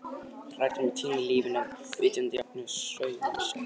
Hræddir um að týna lífinu, vitandi jafnframt að sjódauðinn er sætur.